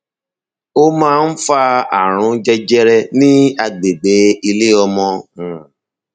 o máa ń fa ààrùn jẹjẹrẹ ní agbègbè ilé ọmọ um